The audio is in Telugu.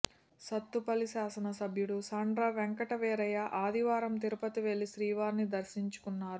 సత్తుపల్లి శాసన సభ్యులు సండ్ర వెంకటవీరయ్య ఆదివారం తిరుపతి వెళ్లి శ్రీవారిని దర్శించుకున్నారు